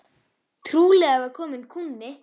Trúlega var kominn kúnni.